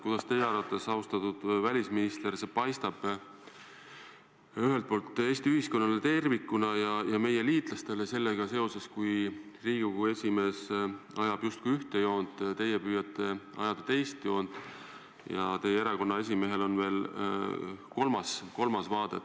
Kuidas teie arvates, austatud välisminister, see paistab Eesti ühiskonnale tervikuna ja ka meie liitlastele, kui Riigikogu esimees ajab justkui ühte joont, teie püüate ajada teist joont ja teie erakonna esimehel on veel kolmas vaade?